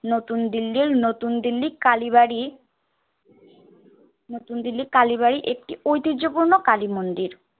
নতুন দিল্লির নতুন দিল্লি কালীবাড়ি নতুন দিল্লী কালীবাড়ি একটি ঐতিহ্যপূর্ণ কালী-মন্দির।